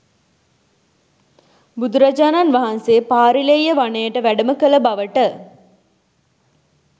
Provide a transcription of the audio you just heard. බුදුරජාණන් වහන්සේ පාරිල්‍යෙය වනයට වැඩම කළ බවට